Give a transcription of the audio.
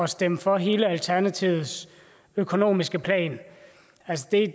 stemme for hele alternativets økonomiske plan